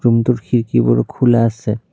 Room টোৰ খিৰকীবোৰ খোলা আছে।